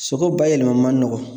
Sogo bayɛlɛma ma nɔgɔn.